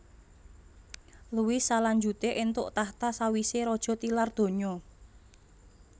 Louis salanjuté éntuk tahta sawisé raja tilar donya